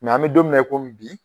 an mi don mi na komi bi